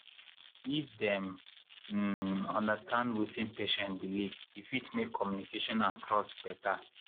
if dem um understand wetin patient believe e fit make communication and trust better.